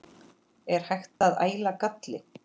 Er hægt að æla galli?